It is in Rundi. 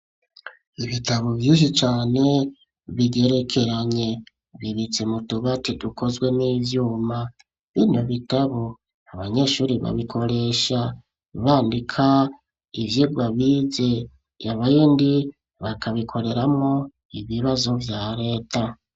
Ibitabo vyinshi cane bigerekeranye. Bibitse mu tubati tukozwe n'ivyuma. Bino bitabo, abanyeshuri babikoresha bandika ivyigwa bize. Ibindi bakabikoreramwo ibibazo vya leta.